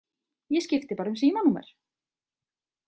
Ég skipti bara um símanúmer!